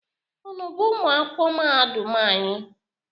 Unu bụ ụmụ akwụkwọ mahadum anyị?